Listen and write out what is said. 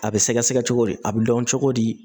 A bɛ sɛgɛsɛgɛ cogo di a bɛ dɔn cogo di